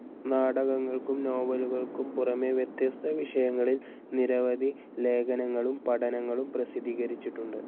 നാടകങ്ങൾക്കും നോവലുകൾക്കും പുറമെ വ്യത്യസ്ത വിഷയങ്ങളിൽ നിരവധി ലേഖനങ്ങളും പഠനങ്ങളും പ്രസിദ്ധീകരിച്ചിട്ടുണ്ട്.